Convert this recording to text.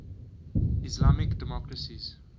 islamic democracies